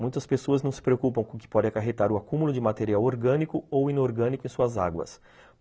Muitas pessoas não se preocupam com o que pode acarretar o acúmulo de material orgânico ou inorgânico em suas águas.